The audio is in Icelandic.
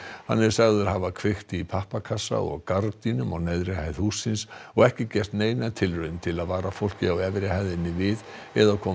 hann er sagður hafa kveikt í pappakassa og gardínum á neðri hæð hússins og ekki gert neina tilraun til að vara fólkið á efri hæðinni við eða koma